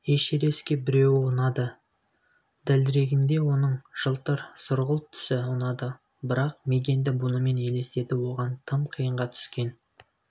эшерестке біреуі ұнады дәлірегінде оның жылтыр-сұрғылт түсі ұнады бірақ мигэнді бұнымен елестету оған тым қиынға түскен